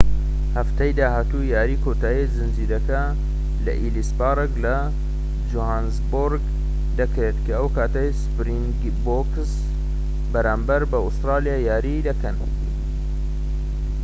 هەفتەی داهاتوو یاریی کۆتایی زنجیرەکە لە ئێلیس پارک لە جۆهانسبۆرگ دەکرێت ئەو کاتەی سپرینگبۆکس بەرامبەر بە ئوسترالیا یاری دەکەن